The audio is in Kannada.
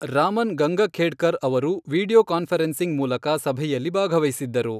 ರಾಮನ್ ಗಂಗಖೇಡ್ಕರ್ ಅವರು ವಿಡಿಯೋ ಕಾನ್ಫರೆನ್ಸಿಂಗ್ ಮೂಲಕ ಸಭೆಯಲ್ಲಿ ಭಾಗವಹಿಸಿದ್ದರು.